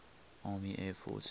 army air forces